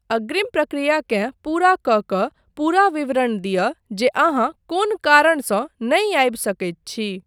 अग्रिम प्रक्रियाकेँ पूरा कऽ कऽ पूरा विवरण दिअ जे अहाँ कोन कारणसँ नहि आबि सकैत छी।